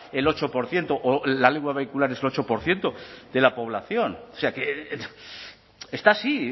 el ocho por ciento o la lengua vehicular es el ocho por ciento de la población o sea que está así